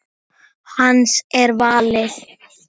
Hans er valið.